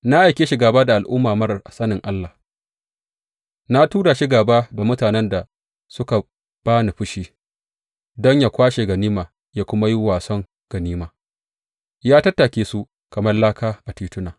Na aike shi gāba da al’umma marar sanin Allah, na tura shi gāba da mutanen da suka ba ni fushi, don yă kwashe ganima yă kuma yi wason ganima, yă tattake su kamar laka a tituna.